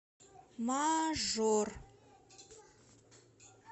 мажор